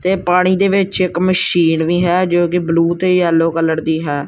ਤੇ ਪਾਣੀ ਦੇ ਵਿੱਚ ਇੱਕ ਮਸ਼ੀਨ ਵੀ ਹੈ ਜੋ ਕੀ ਬ੍ਲੂ ਤੇ ਯੇਲੋ ਕਲਰ ਦੀ ਹੈ।